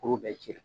K'o bɛɛ ci